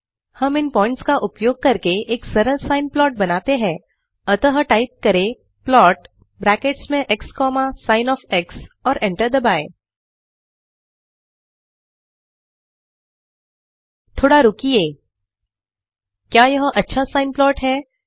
हम इन पॉइंट्स का उपयोग कर एक सरल साइन प्लाट बनाते हैं अतः टाइप करें प्लॉट ब्रैकेट्स में x comma sin of x और एंटर दबाएँ थोडा रुकिए क्या यह अच्छा साइन प्लॉट है